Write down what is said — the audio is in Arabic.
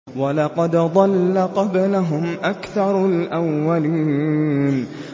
وَلَقَدْ ضَلَّ قَبْلَهُمْ أَكْثَرُ الْأَوَّلِينَ